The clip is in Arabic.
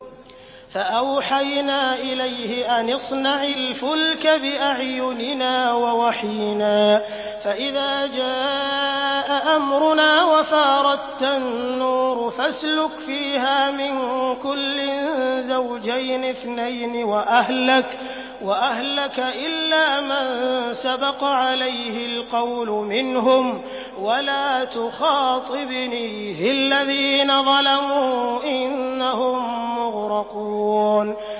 فَأَوْحَيْنَا إِلَيْهِ أَنِ اصْنَعِ الْفُلْكَ بِأَعْيُنِنَا وَوَحْيِنَا فَإِذَا جَاءَ أَمْرُنَا وَفَارَ التَّنُّورُ ۙ فَاسْلُكْ فِيهَا مِن كُلٍّ زَوْجَيْنِ اثْنَيْنِ وَأَهْلَكَ إِلَّا مَن سَبَقَ عَلَيْهِ الْقَوْلُ مِنْهُمْ ۖ وَلَا تُخَاطِبْنِي فِي الَّذِينَ ظَلَمُوا ۖ إِنَّهُم مُّغْرَقُونَ